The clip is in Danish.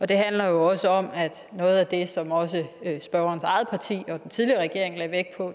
det handler også om at noget af det som også spørgerens eget parti og den tidligere regering lagde vægt på